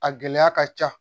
A gɛlɛya ka ca